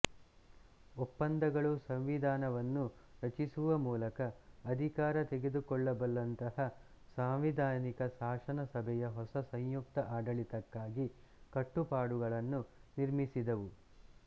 ಒಪ್ಪಂದಗಳು ಸಂವಿಧಾನವನ್ನು ರಚಿಸುವ ಮೂಲಕ ಅಧಿಕಾರ ತೆಗೆದುಕೊಳ್ಳಬಲ್ಲಂತಹ ಸಾಂವಿಧಾನಿಕ ಶಾಸನ ಸಭೆಯ ಹೊಸ ಸಂಯುಕ್ತ ಆಡಳಿತಕ್ಕಾಗಿ ಕಟ್ಟುಪಾಡುಗಳನ್ನು ನಿರ್ಮಿಸಿದವು